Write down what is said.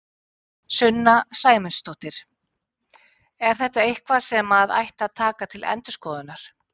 Sunna Sæmundsdóttir: Er þetta eitthvað sem að ætti að taka til endurskoðunar?